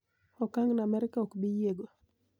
Okang'no Amerka ok bi yiego.